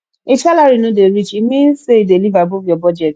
if salary no dey reach e mean say you dey live above your budget